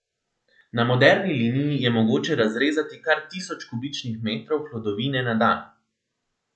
Na moderni liniji je mogoče razrezati kar tisoč kubičnih metrov hlodovine na dan.